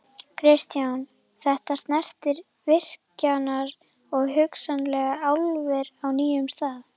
Kristján: Þetta snertir virkjanir og hugsanlega álver á nýjum stað?